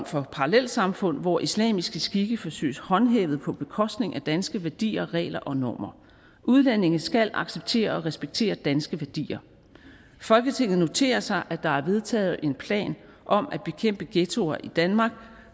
for parallelsamfund hvor islamiske skikke forsøges håndhævet på bekostning af danske værdier regler og normer udlændinge skal acceptere og respektere danske værdier folketinget noterer sig at der er vedtaget en plan om at bekæmpe ghettoer i danmark